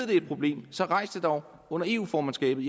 det er et problem så rejs det dog under eu formandskabet